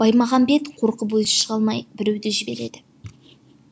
баймағамбет қорқып өзі шыға алмай біреуді жібереді